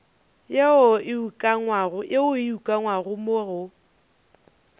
yeo e ukangwego mo go